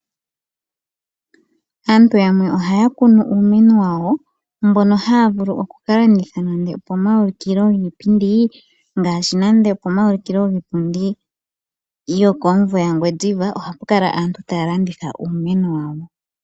Aantu yamwe ohaya kunu uumeno wawo mbono haya vulu oku ka landitha nande opomaulikilo giipindi gokomumvo gaNgwediva ohapu kala pu na aantu taya landitha uumeno wawo.